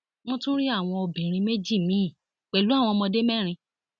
wọn tún rí àwọn obìnrin méjì míín pẹlú àwọn ọmọdé mẹrin